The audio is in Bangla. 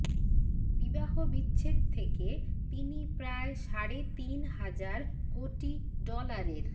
বিবাহবিচ্ছেদ থেকে তিনি প্রায় সাড়ে তিন হাজার কোটি ডলারের